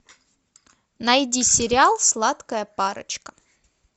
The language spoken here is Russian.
найди сериал сладкая парочка